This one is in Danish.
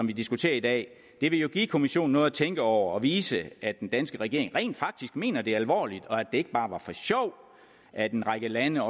vi diskuterer i dag ville jo give kommissionen noget at tænke over og vise at den danske regering rent faktisk mener det alvorligt og det ikke bare var for sjov at en række lande